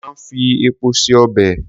Wón máa ń fi epo se ọbè.